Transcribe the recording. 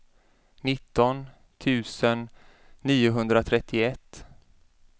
nitton tusen niohundratrettioett